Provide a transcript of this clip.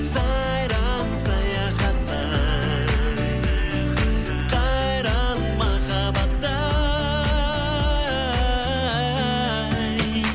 сайран саяхатта ай қайран махаббатты ай